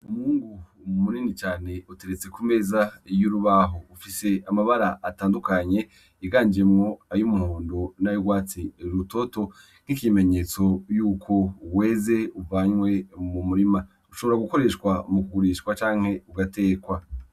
Umwungu munini cane uteretse ku meza y'urubaho, ufise amabara atandukanye yiganjemwo ay'umuhundo nay'urwatsi rutoto nk'ikimenyetso yuko weze uvanywe mu murima, ushobora gukoreshwa mu kugurishwa canke ugatekwa.